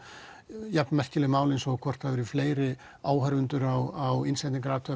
jafn merkileg mál eins og hvort það eru fleiri áhorfendur á